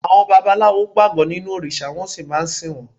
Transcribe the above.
Àwọn babaláwo gbàgbọ́ nínú òrìṣà wọ́n sì máa ń sìn wọ́n.